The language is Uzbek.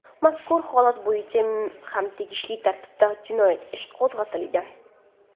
Mazkur holat bo‘yicha ham tegishli tartibda jinoyat ishi qo‘zg‘atilgan.